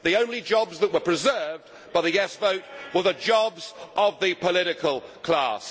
the only jobs that were preserved by the yes' vote were the jobs of the political class.